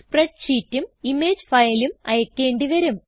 spread ഷീറ്റും image ഫയലും അയക്കേണ്ടി വരും